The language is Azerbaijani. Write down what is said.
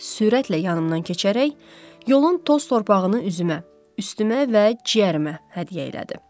Sürətlə yanımdan keçərək yolun toz torpağını üzümə, üstümə və ciyərimə hədiyyə elədi.